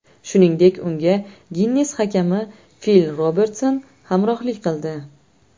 Shuningdek, unga Ginnes hakami Fil Robertson hamrohlik qildi.